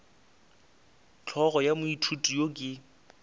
hlogo ya moithuti yo ke